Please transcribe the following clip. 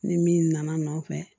Ni min nana nɔfɛ